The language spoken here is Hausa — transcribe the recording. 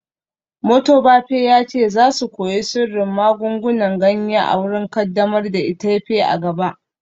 Motobafe ya ce za su koyi sirrin magungunan ganya a wurin kaddamar da itefa a gaba